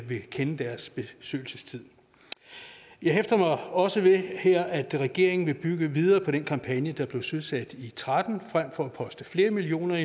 vil kende deres besøgelsestid jeg hæfter mig også ved her at regeringen vil bygge videre på den kampagne der blev søsat i tretten frem for at poste flere millioner